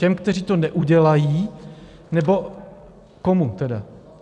Těm, kteří to neudělají, nebo komu tedy?